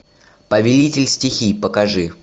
повелитель стихий покажи